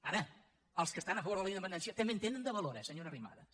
ara els que estan a favor de la independència també en tenen de valor eh senyora arrimadas